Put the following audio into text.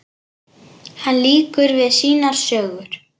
Hún lýkur við sínar sögur.